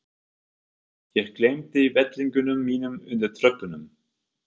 Ég gleymdi vettlingunum mínum undir tröppunum.